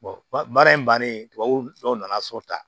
baara in bannen tubabu nɔgɔ dɔw nana sɔrɔ tan